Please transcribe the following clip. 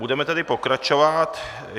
Budeme tedy pokračovat.